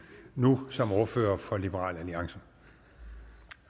nu som ordfører for liberal alliance